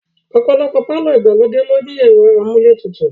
Ọ̀pọ̀lọpọ̀ pàlọ́ ìgbàlódé ló ní ẹ̀rọ amúlé tutù